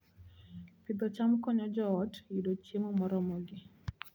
Pidho cham konyo joot yudo chiemo moromogi